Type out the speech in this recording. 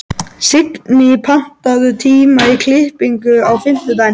Signý, pantaðu tíma í klippingu á fimmtudaginn.